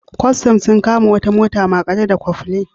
Kwastan sun kama wata mota maƙare da Cofflin.